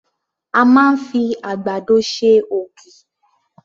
A máa ń fi àgbàdo ṣe ògì.